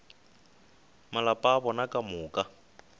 malapa a bona ka moka